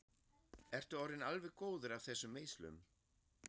Ertu orðinn alveg góður af þessum meiðslum?